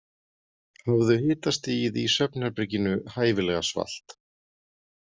Hafðu hitastigið í svefnherberginu hæfilega svalt.